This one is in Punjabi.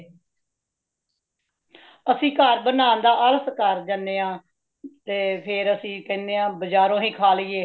ਅਸੀ ਘਰ ਬਨਾਨ ਦਾ ਆਲਸ ਕਰ ਜਾਂਦੇ ਹਾਂ , ਤੇ ਫੇਰ ਅਸੀ ਕੇਂਦੇ ਹੈ ਬਜਾਰੋਂ ਹੀ ਖਾ ਲਈਏ